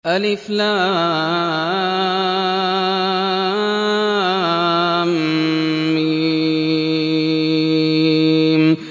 الم